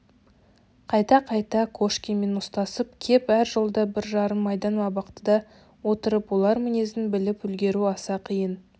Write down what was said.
қайта-қайта кошкинмен ұстасып кеп әр жолда бір жарым айдан абақтыда отырып олар мінезін біліп үлгеру аса қиын